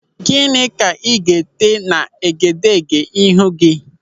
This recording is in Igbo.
Gịnị ka ị ga-ete n'egedege ihu gị?